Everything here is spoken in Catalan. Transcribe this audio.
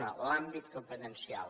una l’àmbit competencial